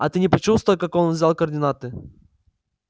а ты не почувствовал как он взял координаты